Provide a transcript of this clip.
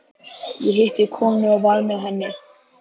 Ég hitti konu og var með henni.